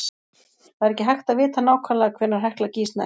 Það er ekki hægt að vita nákvæmlega hvenær Hekla gýs næst.